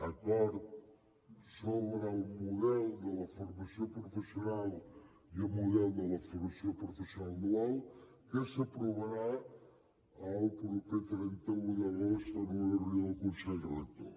acord sobre el model de la formació professional i el model de la formació professional dual que s’aprovarà el proper trenta un d’agost en una reunió al consell rector